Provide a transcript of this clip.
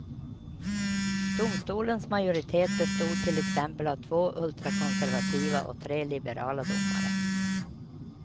Domstolens majoritet bestod till exempel av två ultrakonservativa och tre liberala domare.